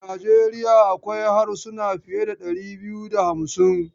A Nijeriya akwai harsuna fiye da dari biyu da hamsin.